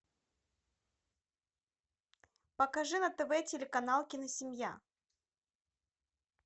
покажи на тв телеканал киносемья